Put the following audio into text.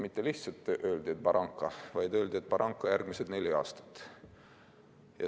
Mitte lihtsalt ei öeldud, et baranka, vaid öeldi, et baranka järgmised neli aastat.